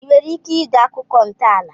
I nwere ike ide akụkọ ntọala